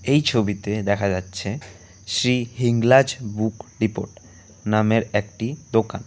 এই ছবিতে দেখা যাচ্ছে শ্রী হিংলাজ বুক ডিপোট নামের একটি দোকান।